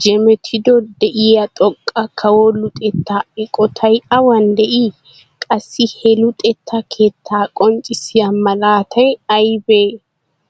jemettiodo de'iyaa xoqqa kawo luxetta eqqotay aawan de'ii? Qassi he luxetta keetta qonccissiya malatay aybbe?